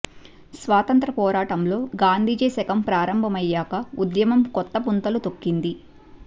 స్వాతంత్ర పోరాటంలో గాంధీజీ శకం ప్రారంభమయ్యాక ఉద్యమం కొత్త పుంతలు తొక్కింది